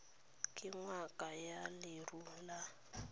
ke ngaka ya leruo ya